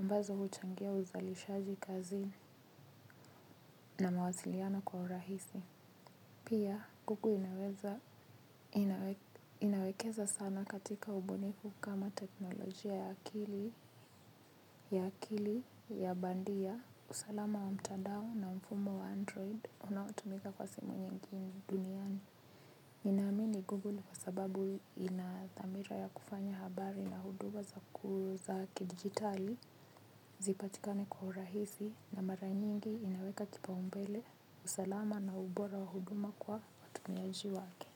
Ambazo huchangia uzalishaji kazini na mawasiliano kwa urahisi. Pia, Google inaweza inawekeza sana katika ubunifu kama teknolojia ya akili, ya akili, ya bandia, usalama wa mtandao na mfumo wa android, unaotumika kwa simu nyingi duniani. Ninaamini Google kwa sababu ina dhamira ya kufanya habari na huduma za ku za kidigitali, zipatikane kwa urahisi na mara nyingi inaweka kipao mbele, usalama na ubora wa huduma kwa watumiaji wake.